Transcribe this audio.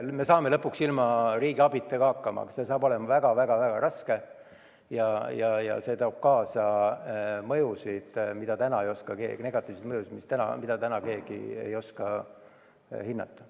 Me saame lõpuks ka ilma riigi abita hakkama, aga see saab olema väga-väga raske ja see toob kaasa negatiivseid mõjusid, mida täna ei oska keegi hinnata.